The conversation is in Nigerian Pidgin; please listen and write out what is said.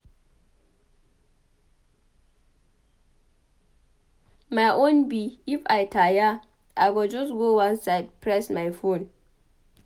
My own be if I tire I go just go one side press my phone.